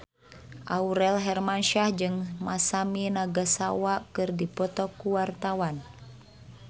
Aurel Hermansyah jeung Masami Nagasawa keur dipoto ku wartawan